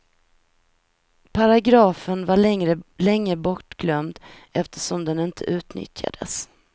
Paragrafen var länge bortglömd eftersom den inte utnyttjades.